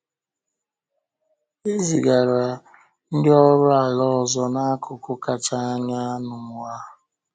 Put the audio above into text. E zigara ndị ọrụ ala ọzọ “n’akụkụ kacha anya n’ụwa.”